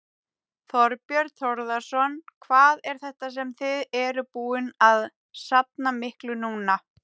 Þorbjörn Þórðarson: Hvað er þetta sem þið eruð búin að safna miklu núna?